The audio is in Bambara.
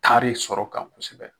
Taari sɔrɔ kan kosɛbɛ